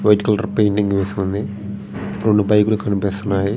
White colour painting వేసి ఉంది. రెండు బైకు లు కనిపిస్తున్నాయి.